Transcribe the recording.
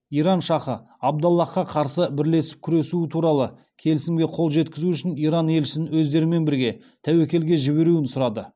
иран шахы абдаллахқа қарсы бірлесіп күресуі туралы келісімге қол жеткізу үшін иран елшісін өздерімен бірге тәуекелге жіберуін сұрады